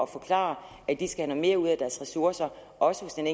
forklare at de skal have noget mere ud af deres ressourcer også hos den